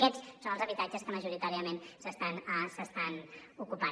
aquests són els habitatges que majoritàriament s’estan ocupant